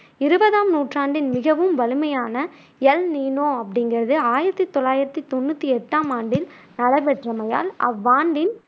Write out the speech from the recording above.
இருவதாம் நூற்றாண்டின் மிகவும் வலிமையான எல் நீனோ அப்படிங்குறது ஆயிரத்தி தொள்ளாயிரத்தி தொண்ணூத்தி எட்டாம் ஆண்டில் நடைபெற்றமையால் அவ்வாண்டின்